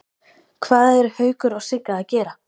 Hvað eru Haukur og Sigga að gera?